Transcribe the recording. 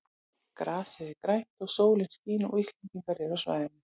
Grasið er grænt og sólin skín og Íslendingar eru á svæðinu.